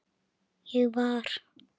Ég var